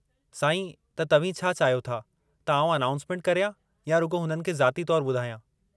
साईं, त तव्हीं छा चाहियो था त आउं अनाउंसमेंट करियां या रुॻो हुननि खे ज़ाती तौरु ॿुधायां?